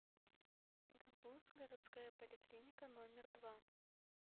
гбуз городская поликлиника номер два